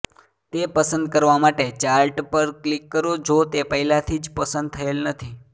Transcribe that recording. તે પસંદ કરવા માટે ચાર્ટ પર ક્લિક કરો જો તે પહેલાથી જ પસંદ થયેલ નથી